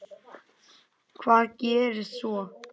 Hvað gerðist svo!?